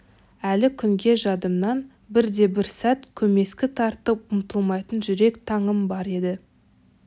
әлі күнге жадымнан бірде-бір сәт көмескі тартып ұмытылмайтын жүрек таңым бар еді